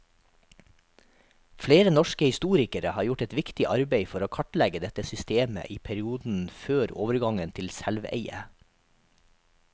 Flere norske historikere har gjort et viktig arbeid for å kartlegge dette systemet i perioden før overgangen til selveie.